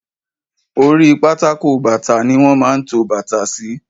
Oríi pátákó bàtà ni wọ́n máa ń to bàtà sí.